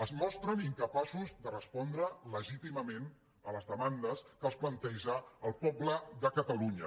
es mostren incapaços de respondre legítimament a les demandes que els planteja el poble de catalunya